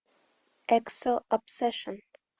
эксо обсешн